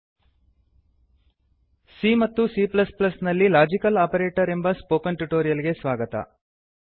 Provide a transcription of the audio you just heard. c ಮತ್ತು c ನಲ್ಲಿ logical operator ಎಂಬ ಸ್ಪೋಕನ್ ಟ್ಯುಟೋರಿಯಲ್ ಗೆ ಸ್ವಾಗತ